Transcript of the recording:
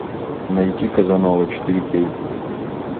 найти казанова четыре кей